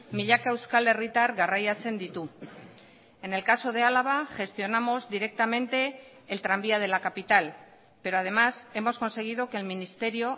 milaka euskal herritar garraiatzen ditu en el caso de álava gestionamos directamente el tranvía de la capital pero además hemos conseguido que el ministerio